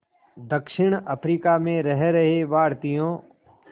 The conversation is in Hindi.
दक्षिण अफ्रीका में रह रहे भारतीयों